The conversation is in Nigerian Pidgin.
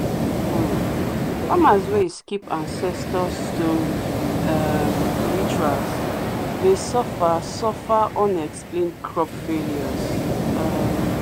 um farmers wey skip ancestor stone um rituals dey suffer suffer unexplained crop failures. um